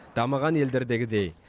дамыған елдердегідей